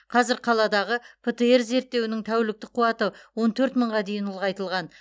қазір қаладағы птр зерттеуінің тәуліктік қуаты он төрт мыңға дейін ұлғайтылған